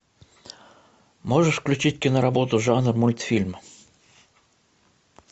можешь включить киноработу жанр мультфильм